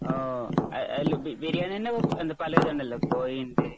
അഹ് എന്നാ ബിരിയാണി തന്നെ എന്താ പല ഇത് ഉണ്ടല്ലോ കോയിയുണ്ട്